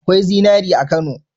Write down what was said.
Akwai zinari a Kano?